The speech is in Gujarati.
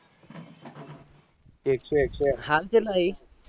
એક સો એક સો